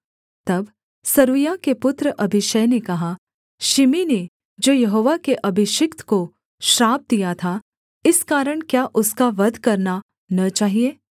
तब सरूयाह के पुत्र अबीशै ने कहा शिमी ने जो यहोवा के अभिषिक्त को श्राप दिया था इस कारण क्या उसका वध करना न चाहिये